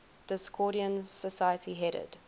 discordian society headed